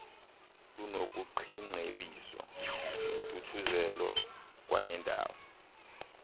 lunokuqiingcebiso nentuthuzelo kwanendawo